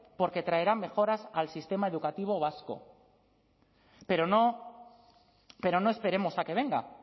porque traerá mejoras al sistema educativo vasco pero no esperemos a que venga